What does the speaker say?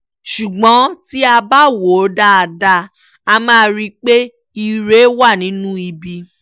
ṣùgbọ́n tí a bá wò ó dáadáa a máa rí i pé ire wa nínú ibi